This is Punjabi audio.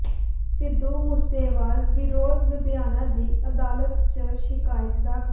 ਸਿੱਧੂ ਮੂਸੇਵਾਲ ਵਿਰੁੱਧ ਲੁਧਿਆਣਾ ਦੀ ਅਦਾਲਤ ਚ ਸ਼ਿਕਾਇਤ ਦਾਖ਼ਲ